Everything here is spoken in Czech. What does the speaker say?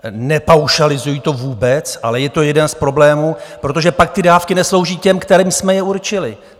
Nepaušalizuji to vůbec, ale je to jeden z problémů, protože pak ty dávky neslouží těm, kterým jsme je určili.